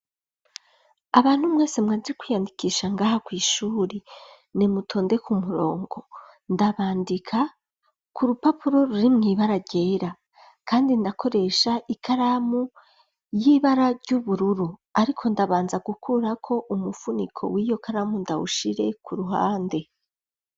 Abantu mwese mwaje kwiyandikisha ngaha kw'ishuri nimutonde ku murongo ndabandika ku rupapuro ruri mw'ibara ryera kandi ndakoresha ikaramu y'ibara ry'ubururu ariko ndabanza gukurako umufuniko w'iyo karamu ndawushire ku ruhande.